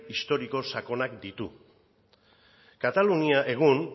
historiko sakonak ditu katalunia egun